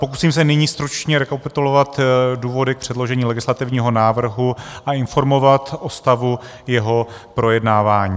Pokusím se nyní stručně rekapitulovat důvody k předložení legislativního návrhu a informovat o stavu jeho projednávání.